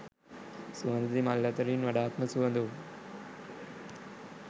සුවඳැති මල් අතරින් වඩාත්ම සුවඳ වූ